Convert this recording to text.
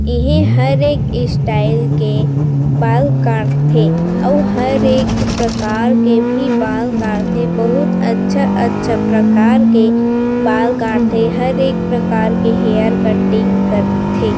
इहि हरे एक स्टाइल के बाल काट थे अऊ हर एक प्रकार के भी बाल काट थे बहुत अच्छा-अच्छा प्रकार के बाल काट थे हर एक प्रकार के हेयर कटिंग काट थे ।